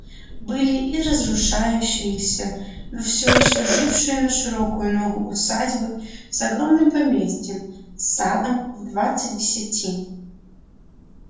были и разрушающиеся но всё ещё жившие на широкую ногу усадьбы с огромным поместьем с садом в двадцать десятин